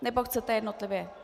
Nebo chcete jednotlivě.